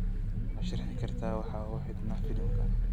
ma sharaxi kartaa waxa uu xidhnaa filimka